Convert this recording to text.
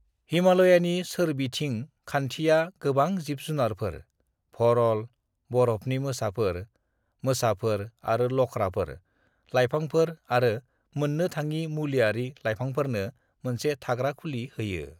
"हिमाल'यानि सोरबिथिं खान्थिया गोबां जिब जुनारफोर (भरल, बर'फनि मोसाफोर, मोसाफोर आरो लख्राफोर), लाइफांफोर आरो मोननो थाङि मुलियारि लाइफांफोरनो मोनसे थाग्रा खुलि होयो ।"